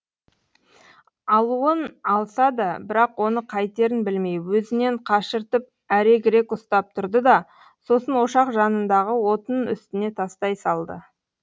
алуын алса да бірақ оны қайтерін білмей өзінен қашыртып әрегірек ұстап тұрды да сосын ошақ жанындағы отын үстіне тастай салды